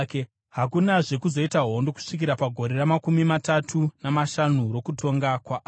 Hakunazve kuzoita hondo kusvikira pagore ramakumi matatu namashanu rokutonga kwaAsa.